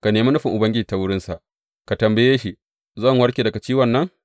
Ka nemi nufin Ubangiji ta wurinsa; ka tambaye shi, Zan warke daga ciwon nan?’